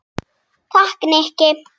Takk, Nikki